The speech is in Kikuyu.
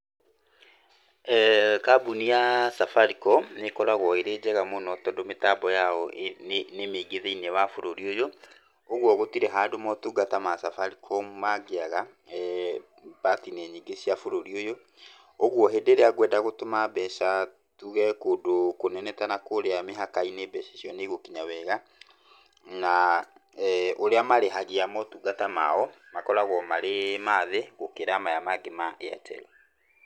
Kambuni ya Safaricom nĩ ĩkoragwo ĩrĩ njega mũno tondũ mĩtambo yao ĩĩ, nĩ mĩingĩ thĩiniĩ wa bũrũri ũyũ, ũgwo gũtirĩ handũ motungata ma Safaricom mangĩaga part -inĩ nyingĩ cia bũrũri ũyũ. Ũguo hĩndĩ ĩria ngwenda gũtũma mbeca tuge kũndũ kũnene ta nakũrĩa mĩhaka-inĩ mbeca ĩcio nĩ igũkinya wega. Na urĩa marĩhagia motungata mao makoragwo marĩ mathĩ gũkĩra maya mangĩ ma Airtel.